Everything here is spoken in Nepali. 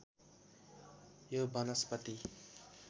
यो वनस्पति